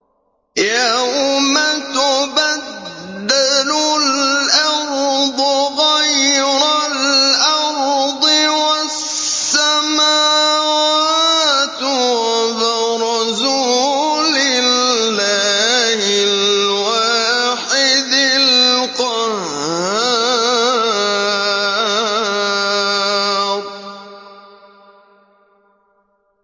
يَوْمَ تُبَدَّلُ الْأَرْضُ غَيْرَ الْأَرْضِ وَالسَّمَاوَاتُ ۖ وَبَرَزُوا لِلَّهِ الْوَاحِدِ الْقَهَّارِ